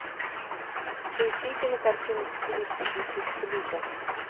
поищи кинокартины в стилистике чикфлика